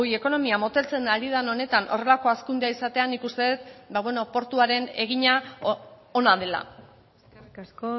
ekonomia moteltzen ari den honetan horrelako hazkundea izatea nik uste dut portuaren egina ona dela eskerrik asko